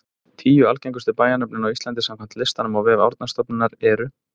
Tíu algengustu bæjarnöfnin á Íslandi samkvæmt listanum á vef Árnastofnunar eru: